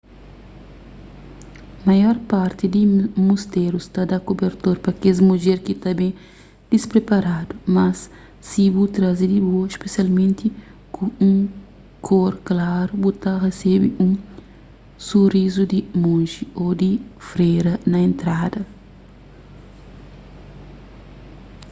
maior parti di musterus ta da kubertor pa kes mudjer ki ta ben dispriparadu mas si bu traze di bo spesialmenti ku un kor klaru bu ta resebe un surizu di monji ô di fréra na entrada